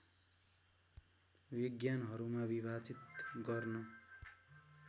विज्ञानहरूमा विभाजित गर्न